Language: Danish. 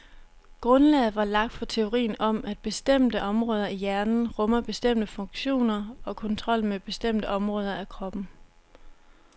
Grundlaget var lagt for teorien om, at bestemte områder i hjernen rummer bestemte funktioner og kontrollen med bestemte områder af kroppen.